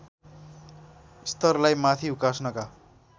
स्तरलाई माथि उकास्नका